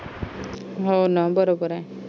हो ना बरोबर आहे